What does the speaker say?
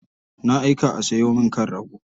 Na aika a sayo min kan rago.